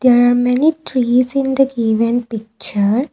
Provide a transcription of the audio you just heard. there are many trees in the given picture.